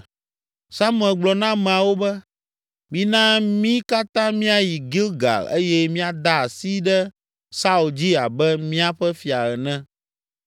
Samuel gblɔ na ameawo be, “Mina mí katã míayi Gilgal eye míada asi ɖe Saul dzi abe míaƒe fia ene.”